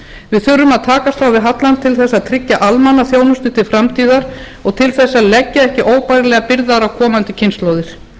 við þurfum að takast á við hallann til að tryggja almannaþjónustu til framtíðar og til að leggja ekki óbærilegar byrðar á komandi kynslóðir